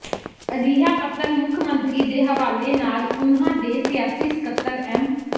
ਅਜਿਹਾ ਪੱਤਰ ਮੁੱਖ ਮੰਤਰੀ ਦੇ ਹਵਾਲੇ ਨਾਲ਼ ਉਨ੍ਹਾਂ ਦੇ ਸਿਆਸੀ ਸਕੱਤਰ ਐਮ